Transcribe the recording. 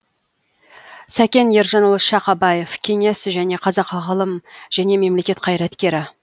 сәкен ержанұлы шақабаев кеңес және қазақ ғылым және мемлекет қайраткері